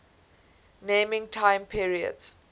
naming time periods